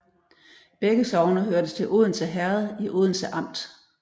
Begge sogne hørte til Odense Herred i Odense Amt